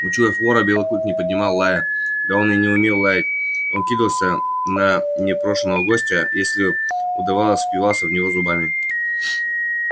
учуяв вора белый клык не поднимал лая да он и не умел лаять он кидался на непрошеного гостя если удавалось впивался в него зубами